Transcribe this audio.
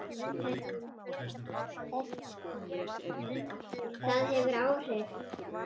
Það hefur áhrif.